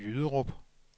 Jyderup